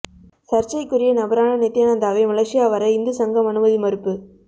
சர்ச்சைக்குரிய நபரான நித்தியானந்தாவை மலேசியா வர இந்து சங்கம் அனுமதி மறுப்பு